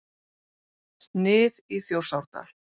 Snið í Þjórsárdal.